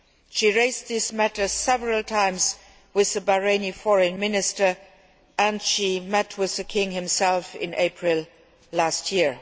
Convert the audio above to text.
She raised this matter several times with the Bahraini Foreign Minister and she met with the King himself in April last year.